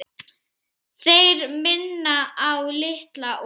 Þeir minna á Litla og